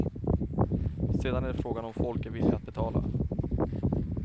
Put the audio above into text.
Sedan är det frågan om folk är villiga att betala.